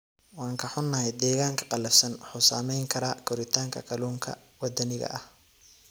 Waan ka xunnahay, deegaanka qallafsan wuxuu saameyn karaa koritaanka kalluunka waddaniga ah.